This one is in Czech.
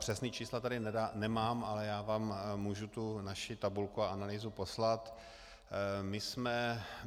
Přesná čísla tady nemám, ale já vám můžu tu naši tabulku a analýzu poslat.